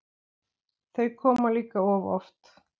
Þau koma líka of oft.